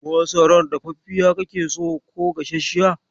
Masarar dafaffiya kake so ko gasasshiya?